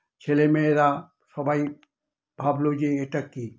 ছেলে-মেয়েরা সবাই ভাবলো যে এটা কি!